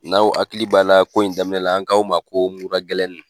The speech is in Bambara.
N'aw hakili b'a la ko in daminɛ la an k'aw ma ko mura gɛlɛnin.